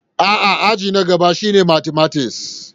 A'a, aji na gaba shine matimatis.